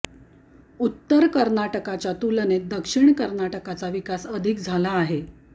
उत्तर कर्नाटकच्या तुलनेत दक्षिण कर्नाटकचा विकास अधिक झाला आहे